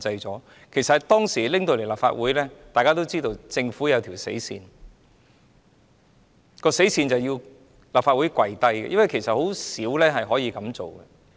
當《條例草案》提交立法會大會，大家也知道政府已訂下死線，而這做法是要立法會"跪低"，因為甚少情況是會這樣做的。